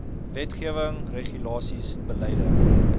wetgewing regulasies beleide